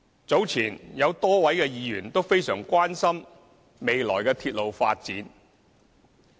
早前，有多位議員均非常關心未來鐵路發展。